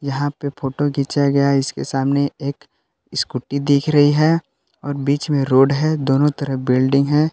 यहां पे फोटो खींचा गया है इसके सामने एक स्कूटी दिख रही है और बीच में रोड है दोनों तरफ बिल्डिंग है।